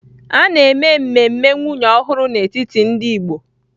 A na-eme mmemme nwunye ọhụrụ n'etiti ndị Igbo